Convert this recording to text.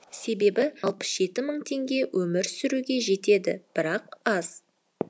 себебі алпыс жеті мың теңге өмір сүруге жетеді бірақ аз